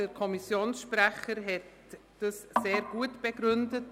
Der Kommissionssprecher hat dieses sehr gut begründet.